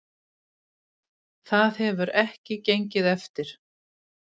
Það hefur ekki gengið eftir